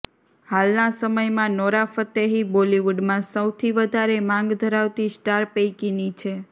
હાલના સમયમાં Nora Fatehi બોલિવુડમાં સૌથી વધારે માંગ ધરાવતી સ્ટાર પૈકીની છે